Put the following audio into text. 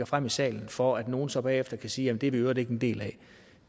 frem i salen for at nogle så bagefter kan sige jamen det er vi i øvrigt ikke en del af